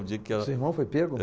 O dia que ela... Seu irmão foi pego?